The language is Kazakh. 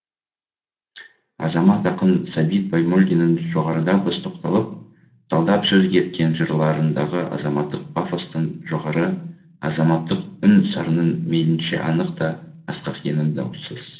азамат ақын сәбит баймолдиннің жоғарыда біз тоқталып талдап сөз еткен жырларындағы азаматтық пафостың жоғары азаматтық үн сарынының мейлінше анық та асқақ екені даусыз